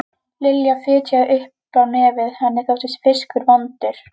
Lilla fitjaði upp á nefið, henni þótti fiskur vondur.